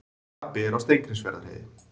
Krapi er á Steingrímsfjarðarheiði